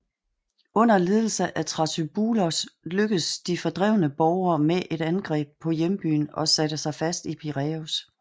Under ledelse af Thrasybulos lykkedes de fordrevne borgere med et angreb på hjembyen og satte sig fast i Piræus